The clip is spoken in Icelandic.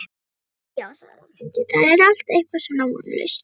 Æ, já sagði Ragnhildur, það er allt eitthvað svo vonlaust